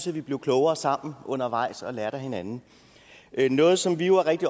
vi blev klogere sammen undervejs og lærte af hinanden noget som vi jo er rigtig